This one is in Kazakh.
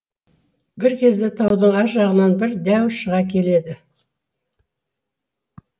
бір кезде таудың ар жағынан бір дәу шыға келеді